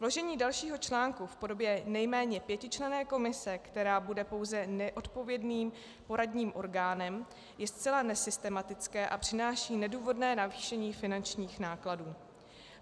Vložení dalšího článku v podobě nejméně pětičlenné komise, která bude pouze neodpovědným poradním orgánem, je zcela nesystematické a přináší nedůvodné navýšení finančních nákladů.